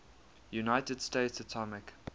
united states atomic